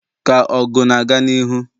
ka ọgụ na-aga n'ihu